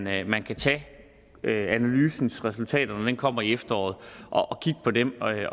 at man kan tage analysens resultater når de kommer i efteråret og kigge på dem